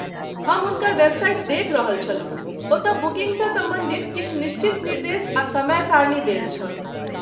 हम हुनकर वेबसाइट देखि रहल छलहुँ, ओतय बुकिन्गसँ सम्बन्धित किछु निश्चित निर्देश आ समय सारणी देल छल।